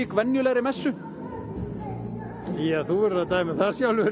venjulegri messu þú verður að dæma um það sjálfur